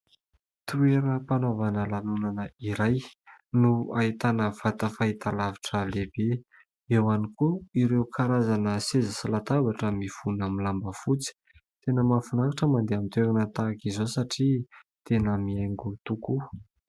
Toeram-panaovana lanonana iray no ahitana vata fahitalavitra lehibe. Eo ihany koa ireo karazana seza sy latabatra mifono amin'ny lamba fotsy. Tena mahafinaritra ny mandeha amin'ny toerana tahak'izao satria tena mihaingo tokoa.